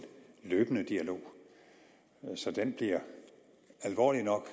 løbende dialog så den bliver alvorlig nok og